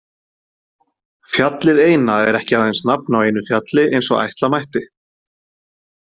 Fjallið eina er ekki aðeins nafn á einu fjalli eins og ætla mætti.